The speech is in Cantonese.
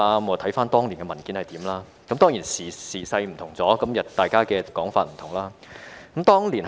回看當年的文件，我發覺時勢已有所不同，大家的說法也有分別。